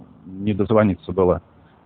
не дозвониться было